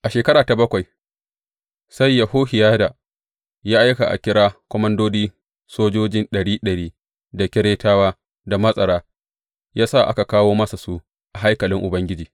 A shekara ta bakwai sai Yehohiyada ya aika a kira komandodin sojoji ɗari ɗari, da Keretawa, da matsara, ya sa aka kawo masa su a haikalin Ubangiji.